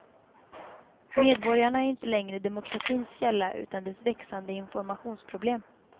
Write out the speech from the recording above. Medborgarna är inte längre demokratins källa utan dess växande informationsproblem.